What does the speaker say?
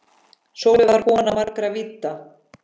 Sólveig var kona margra vídda.